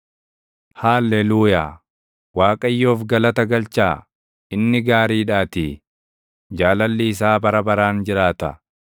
Haalleluuyaa. Waaqayyoof galata galchaa; inni gaariidhaatii; jaalalli isaa bara baraan jiraata.